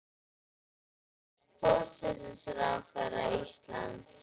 Hún er forsætisráðherra Íslands.